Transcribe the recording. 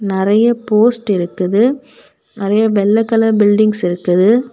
நறைய போஸ்ட் இருக்குது நறைய வெள்ளை கலர் பில்டிங்ஸ் இருக்குது.